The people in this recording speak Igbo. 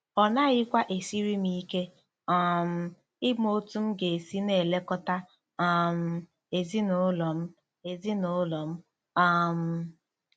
Ọ naghịkwa esiri m ike um ịma otú m ga-esi na-elekọta um ezinụlọ m. ezinụlọ m. um